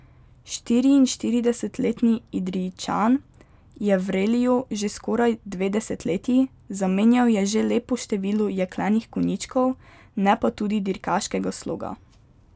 Štiriinštiridesetletni Idrijčan je v reliju že skoraj dve desetletji, zamenjal je že lepo število jeklenih konjičkov, ne pa tudi dirkaškega sloga.